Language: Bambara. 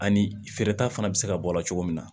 Ani feereta fana bɛ se ka bɔ a la cogo min na